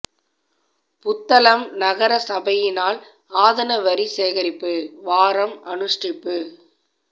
புத்தளம் நகர சபையினால் ஆதன வரி சேகரிப்பு வாரம் அனுஷ்டிப்பு